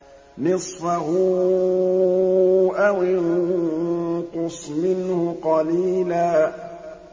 نِّصْفَهُ أَوِ انقُصْ مِنْهُ قَلِيلًا